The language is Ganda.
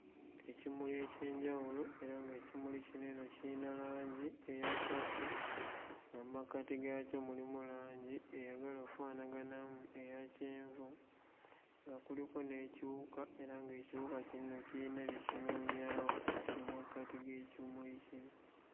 Ekimuli eky'enjawulo era ng'ekimuli kino eno kiyina langi eya purple nga mmakati gaakyo mulimu langi eyagala offaanaganamu eya kyenvu nga kuliko n'ekiwuka era ng'ekiwuka kino eno kiyina bye kinoonyaamu mu makkati g'ekimuli kino.